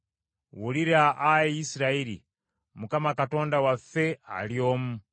“Wulira, Ayi Isirayiri: Mukama Katonda waffe ali omu.